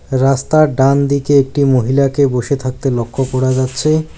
রাস্তার ডানদিকে একটি মহিলাকে বসে থাকতে লক্ষ্য করা যাচ্ছে।